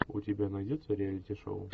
у тебя найдется реалити шоу